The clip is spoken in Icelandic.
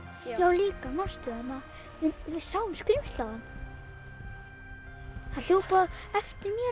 líka manstu við sáum skrímsli áðan það hljóp á eftir mér